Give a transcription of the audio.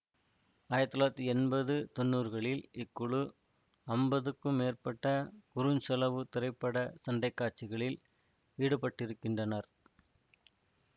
ஆயிரத்தி தொள்ளாயிரத்தி எம்பது தொன்னூறுகளில் இக்குழு அம்பதுக்கும் மேற்பட்ட குறுஞ்செலவு திரைப்பட சண்டை காட்சிகளில் ஈடுபட்டுருக்கின்றனர்